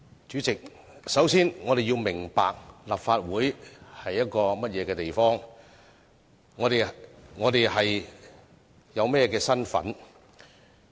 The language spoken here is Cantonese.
主席，我們首先要明白立法會是一個甚麼地方，我們有甚麼的身份。